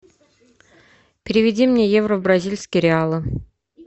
переведи мне евро в бразильские реалы